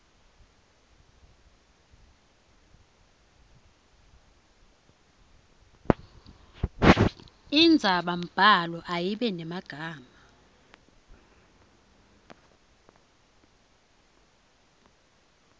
indzabambhalo ayibe nemagama